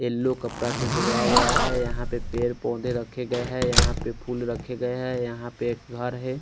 Yellow कपड़ा सझाया गया है यहाँ पर पेड़ पोधे रखे गय है यहाँ पर फुल रखे गय है यहाँ पर एक घर है।